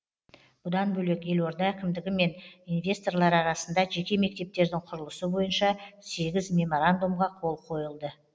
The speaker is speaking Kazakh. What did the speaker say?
бұдан бөлек елорда әкімдігі мен инвесторлар арасында жеке мектептердің құрылысы бойынша сегіз меморандумға қол қойылды